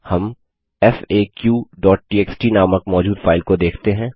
हम faqटीएक्सटी नामक मौजूद फाइल को देख सकते हैं